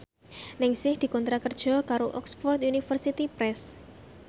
Ningsih dikontrak kerja karo Oxford University Press